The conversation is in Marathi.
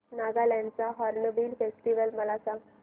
नागालँड चा हॉर्नबिल फेस्टिवल मला सांग